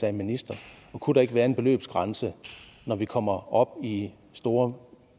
af en minister og kunne der ikke være en beløbsgrænse når vi kommer op i store